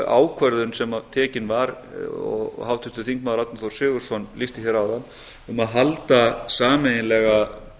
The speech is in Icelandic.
ákvörðun sem tekin var og háttvirtur þingmaður árni þór sigurðsson lýsti hér áðan um að